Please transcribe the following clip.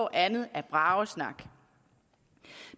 andet er bragesnak